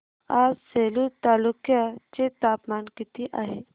आज सेलू तालुक्या चे तापमान किती आहे